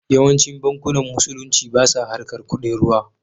Yawancin bankunan musulunci basa harkar kuɗin ruwa